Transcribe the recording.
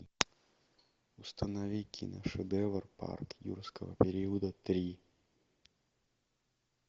установи кино шедевр парк юрского периода три